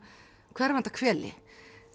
hverfanda hveli